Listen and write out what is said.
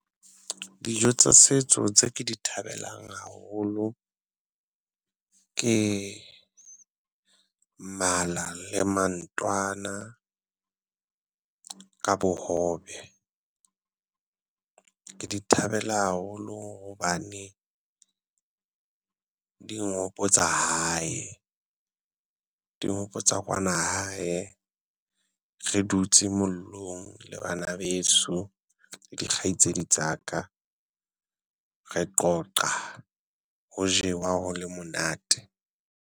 Dijo tsa setso tse ke di thabelang haholo ke mala le mantwana ka bohobe, ke di thabela haholo hobane. Di nghopotsa hae, di nghopotsa kwana hae, re dutse mollong le bana beso di kgaitsedi tsa ka. Re qoqa ho jewa ho le monate.